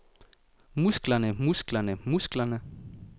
musklerne musklerne musklerne